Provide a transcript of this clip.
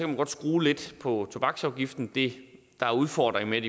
man godt skrue lidt på tobaksafgiften det der er udfordringen